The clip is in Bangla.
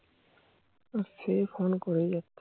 আর সেই Phone করেই যাচ্ছে